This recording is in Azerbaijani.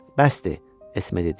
Bəsdir, Esme dedi.